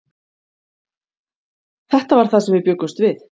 Þetta var það sem við bjuggumst við.